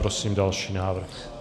Prosím další návrh.